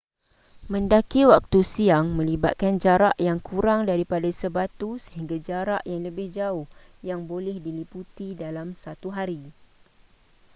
mendaki waktu siang melibatkan jarak yang kurang daripada sebatu sehingga jarak yang lebih jauh yang boleh diliputi dalam satu hari